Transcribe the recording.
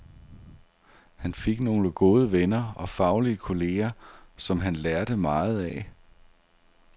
Han fik nogle gode venner og faglige kolleger, som han lærte meget af.